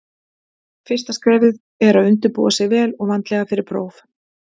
Fyrsta skrefið er að undirbúa sig vel og vandlega fyrir próf.